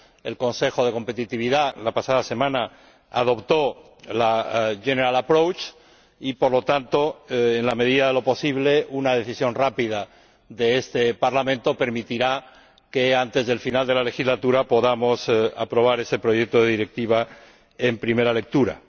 el Consejo de Competitividad adoptó la pasada semana el enfoque general y, por lo tanto, en la medida de lo posible una decisión rápida de este Parlamento permitirá que antes del final de la legislatura podamos aprobar esa propuesta de Directiva en primera lectura.